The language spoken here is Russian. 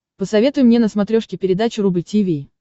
посоветуй мне на смотрешке передачу рубль ти ви